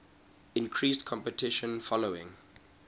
increased competition following